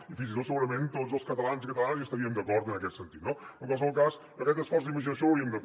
i fins i tot segurament tots els catalans i catalanes hi estaríem d’acord en aquest sentit no en qualsevol cas aquest esforç d’imaginació l’hauríem de fer